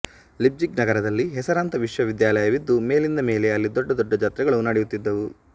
Leipzig ನಗರದಲ್ಲಿ ಹೆಸರಾಂತ ವಿಶ್ವವಿದ್ಯಾಲಯವಿತ್ತು ಮೇಲಿಂದಮೇಲೆ ಅಲ್ಲಿ ದೊಡ್ಡ ದೊಡ್ಡ ಜಾತ್ರೆಗಳು ನಡೆಯುತ್ತಿದ್ದುವು